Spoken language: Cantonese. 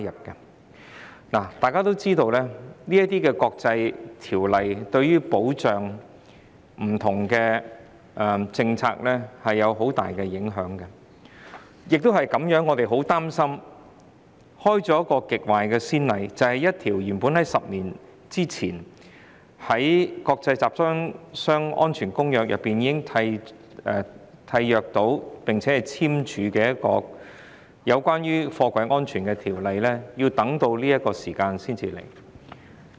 眾所周知，這些國際公約對於保障不同的政策有很大影響，亦因此我們很擔心會開了極壞的先例，便是一項原本於10年前在《公約》會議中已簽署、有關貨櫃安全的決議，我們要到這個時間才處理。